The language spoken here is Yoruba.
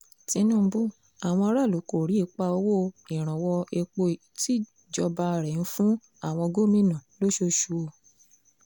tinúbú àwọn aráàlú kò rí ipa owó ìrànwọ́ epo tíjọba rẹ̀ ń fún àwọn gómìnà lóṣooṣù o